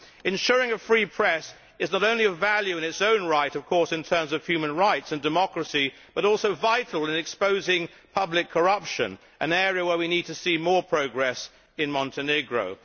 Ensuring a free press is not only of value in its own right in terms of human rights and democracy, but it is also vital in exposing public corruption, an area where we need to see more progress in Montenegro.